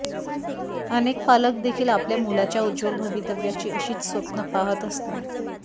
अनेक पालक देखील आपल्या मुलाच्या उज्ज्वल भवितव्याची अशीच स्वप्न पाहत असतात